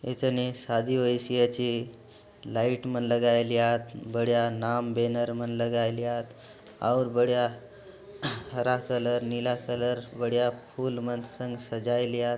एछने शादी होएसि अछि लाइट मने लगाइलियात बढिया नाम बेनर मने लगाइलियात और बढिया हरा कलर नीला कलर बढिया फूल मने सङ्ग सजाइलियात।